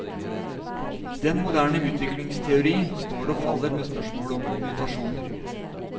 Den moderne utviklingsteori står og faller med spørsmålet om mutasjoner.